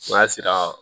N'a sera